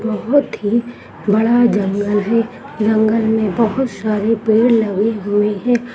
बहुत ही बड़ा जंगल है जंगल मे बहुत सारे पेड़ लगे हुए है।